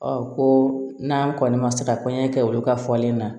ko n'an kɔni ma se ka kɔɲɔkɛ kɛ olu ka fɔlen na